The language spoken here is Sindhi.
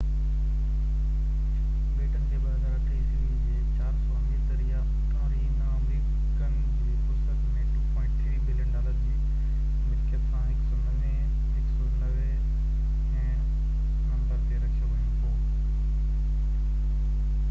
بيٽن کي 2008ع جي 400 امير ترين آمريڪين جي فهرست ۾ 2.3 بلين ڊالر جي ملڪيت سان 190 هين نمبر تي رکيو يو هو